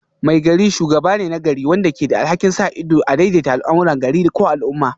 Maigari shugaba ne na gari wanda ke da alhakin sa ido da daidaita al'amuran gari ko al'umma